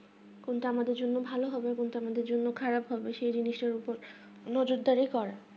কোনটা আমাদের জন্য ভালো সেটা হয় তো internet এর জন্য খারাপ প্রভাব সেই জন্য সে নজরদারি করা